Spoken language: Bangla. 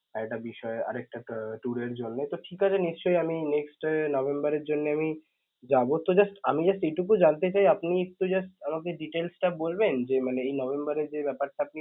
এইটা বিষয় আরেকটা tour এর জন্য তো ঠিকাছে নিশ্চয় আমি নভেম্বর এর জন্যে আমি যাব তো just আমি just এইটুকু জানতে চাই আপনি একটু just আমাকে details টা বলবেন যে মানে এই এর যে ব্যাপারটা আপনি